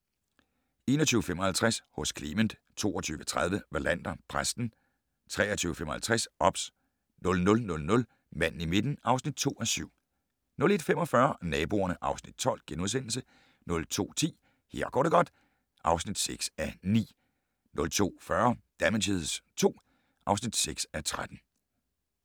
21:55: Hos Clement 22:30: Wallander: Præsten 23:55: OBS 00:00: Manden i midten (2:7) 01:45: Naboerne (Afs. 12)* 02:10: Her går det godt (6:9) 02:40: Damages II (6:13)